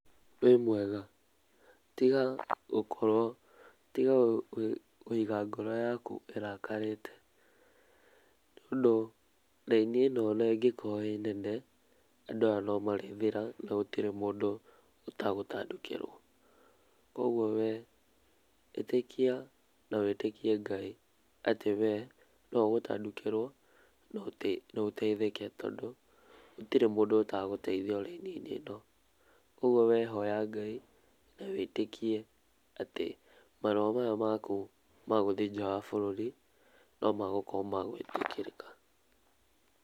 Wĩ mwega? Tiga gukorwo tiga kũiga ngoro yaku ĩrakarĩte, tondũ raini ĩno onangĩkorwo ĩnene no ĩrĩthira, gũtirĩ mũndũ etegũtangĩkĩrwo. Koguo we ĩtĩkia na wĩtĩkie Ngai ati we noũgũtangĩkĩrwo noteithĩke tondũ gũtĩrĩ etegũteithio raini ĩno, koguo we hoya Ngai na wĩtĩkie atĩ marũa maya maku magũthiĩ nja wa bũrũri nomegũkorwo memagũĩtĩkĩrĩka.